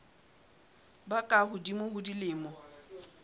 ba ka hodimo ho dilemo